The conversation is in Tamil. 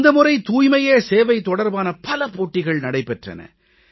இந்த முறை தூய்மையே சேவை தொடர்பான பல போட்டிகள் நடைபெற்றன